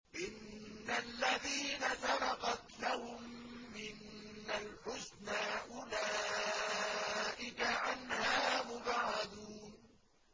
إِنَّ الَّذِينَ سَبَقَتْ لَهُم مِّنَّا الْحُسْنَىٰ أُولَٰئِكَ عَنْهَا مُبْعَدُونَ